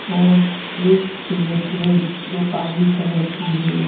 और एक प्लेट है जो काली कलर की है।